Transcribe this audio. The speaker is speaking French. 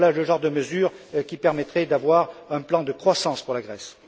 Voilà le genre de mesures qui permettraient d'avoir un plan de croissance pour la Grèce.